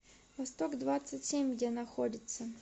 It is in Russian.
восток двадцать семь где находится